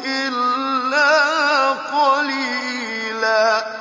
إِلَّا قَلِيلًا